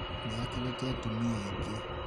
nĩ akĩrĩte atumia aĩngĩ